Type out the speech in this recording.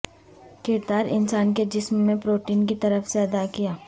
کردار انسان کے جسم میں پروٹین کی طرف سے ادا کیا